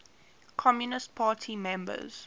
communist party members